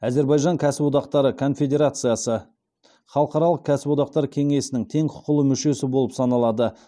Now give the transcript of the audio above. әзірбайжан кәсіподақтары конфедерациясы халықаралық кәсіподақтар кенесінің тең құқылы мүшесі болып саналады